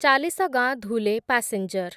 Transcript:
Chalisgaon Dhule passenger